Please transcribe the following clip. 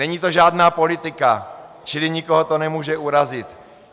Není to žádná politika, čili nikoho to nemůže urazit.